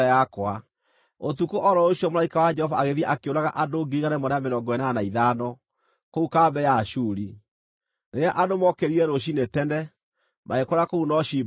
Ũtukũ o ro ũcio mũraika wa Jehova agĩthiĩ akĩũraga andũ 185,000 kũu kambĩ ya Ashuri. Rĩrĩa andũ mookĩrire rũciinĩ tene, magĩkora kũu no ciimba theri!